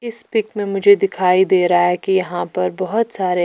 इस पिक में मुझे दिखाई दे रहा है कि यहां पर बहोत सारे--